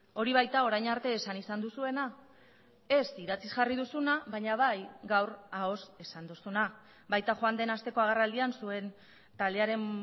hori baita orain arte esan izan duzuena ez idatziz jarri duzuna baina bai gaur ahoz esan duzuna baita joan den asteko agerraldian zuen taldearen